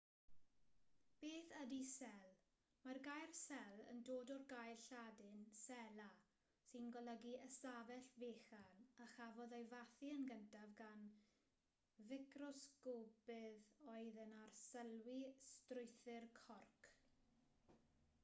beth ydy cell mae'r gair cell yn dod o'r gair lladin cella sy'n golygu ystafell fechan a chafodd ei fathu yn gyntaf gan ficrosgopydd oedd yn arsylwi strwythur corc